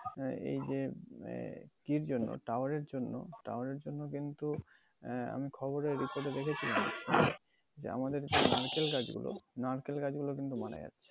আহ এই যে আহ কি জন্য, টাওয়ারের জন্য, টাওয়ারের জন্য কিন্তু আহ আমি খবরে দেখেছিলাম যে আমাদের নারকেল গাছগুলো, নারকোল গাছগুলো কিন্তু মারা যাচ্ছে।